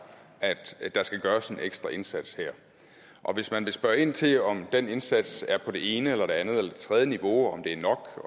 at der skal gøres en ekstra indsats her og hvis man vil spørge ind til om den indsats er på det ene eller det andet eller det tredje niveau og om det er nok